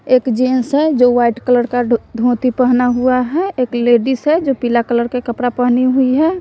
एक जेंस है जो वाइट कलर का ढो धोती पहना हुआ है एक लेडिस है जो पीला कलर के कपड़ा पहनी हुई है।